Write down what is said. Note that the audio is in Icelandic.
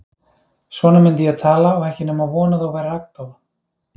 Svona myndi ég tala og ekki nema von að þú værir agndofa.